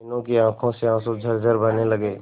मीनू की आंखों से आंसू झरझर बहने लगे